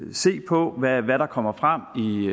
vi se på hvad der kommer frem